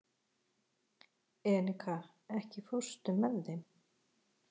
Enika, ekki fórstu með þeim?